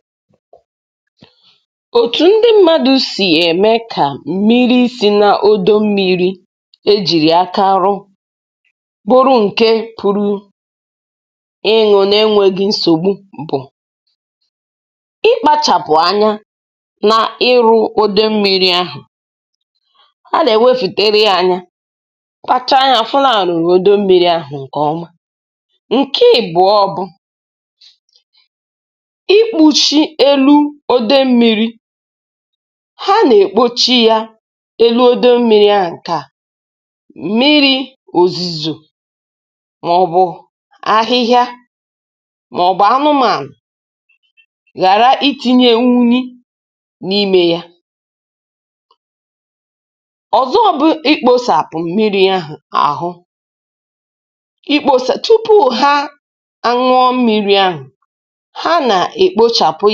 Otu ụzọ ndị mmadụ si eme ka mmiri si n’odo maọbụ n’osimiri bụrụ mmiri a pụrụ ịṅụ na jiri, bụ site n’iji mee ka ebe mmiri ahụ dị ọcha, um ma bụrụkwa nke a na-elekọta nke ọma. Ha na-elekọta odo mmiri ahụ nke ọma, na-eche anya, um na-eme ka ọ dị ọcha, iji mee ka mmiri ahụ dị ọhụrụ ma bụrụkwa nke dị nchebe. Otu ụzọ bụ ikpuchi elu mmiri ahụ, ka uzuzu, akwụkwọ osisi, maọbụ anụmanụ ghara ịdaba n’ime ya. Ụzọ ọzọ bụ na tupu ha ṅụọ mmiri ahụ, um ha na-ekpochapụ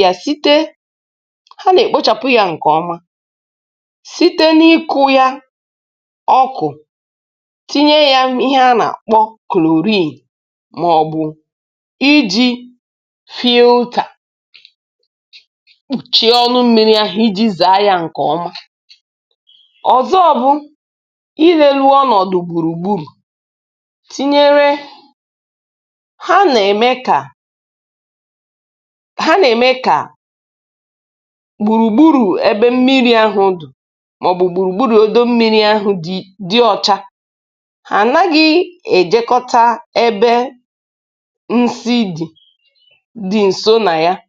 ya. Ha na-ekpochapụ ya site n’isi ya ọkụ, maọbụ site n’iji akwa sịpụ ya, maọbụ site n’iji ụtà maọbụ sieve sachapụ ya nke ọma. Ụzọ ọzọ bụ iwuli mgbidi maọbụ ogige gbara ebe mmiri ahụ gburugburu, ka mmiri ahụ wee dị ọcha. Ha na-elekọta ya nke ọma, um ka mmadụ ghara ịtụpụ ihe mkpofu maọbụ unyi n’ebe ahụ. Ha na-eme ka e buru mmiri ahụ nke ọma, ghara ịhapụ ya ka ọ bụrụ nke rụrụ arụ. N’oge ụfọdụ, um ha na-ewetara ụmụ ihe mmiri ahụ n’ụlọ nyocha maka nyocha. Nke a bụ iji mara ma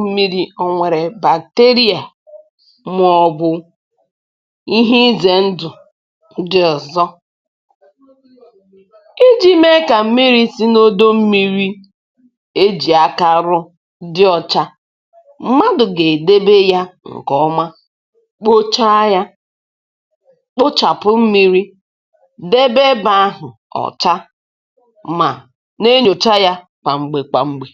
mmiri ahụ enweghị nje bacteria, maọbụ ihe ndị ọzọ nwere ike imebi ahụ. Nke a na-enyere aka igosi na mmiri si n’odo ahụ dị ọcha, ma dịkwa mma iji mee ihe. Site n’ime ihe ndị a ikpuchi mmiri, ikpochapụ mmiri, ichekwa mmiri, na nyocha ya, ndị mmadụ na-eme ka mmiri si n’odo bụrụ nke dị ọcha, um ma bụrụkwa nke dị mma. Ha na-echekwa ebe ahụ, na-eme ka ọ dị ọcha, ma na-elekọta mmiri ahụ oge na oge.